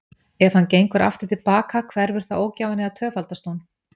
Ef hann gengur aftur til baka, hverfur þá ógæfan eða tvöfaldast hún?